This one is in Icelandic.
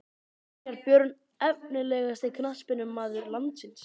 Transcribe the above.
Brynjar Björn Efnilegasti knattspyrnumaður landsins?